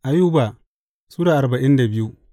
Ayuba Sura arba'in da biyu